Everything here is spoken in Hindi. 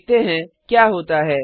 देखते हैं क्या होता है